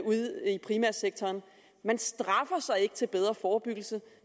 primærsektoren man straffer ikke til bedre forebyggelse